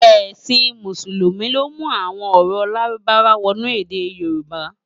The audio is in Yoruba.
Èsin Músùlúmi ló mú awòn òrò lárúbáwá wònú èdè yorùbá